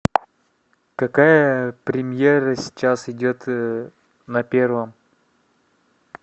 какая премьера сейчас идет на первом